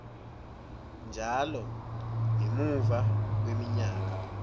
njalo ngemuva kweminyaka